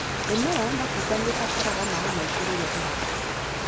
Mĩmera ya matunda nĩibataraga maĩ maingĩ rĩrĩa ĩrakũra.